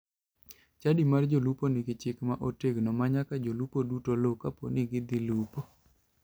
Chadi mar jolupo nigi chik ma otegno ma nyaka jolupo duto luw kapo ni gidhi lupo.